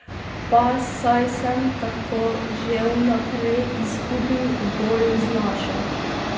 Pa saj sem tako že v naprej izgubil v boju z našo.